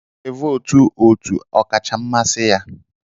Ọ ga e vootu otu ọkacha mmasị ya